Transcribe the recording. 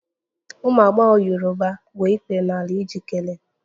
Ụmụ agbọghọ Yoruba gbuo ikpere n'ala iji kelee